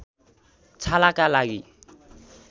छालाका लागि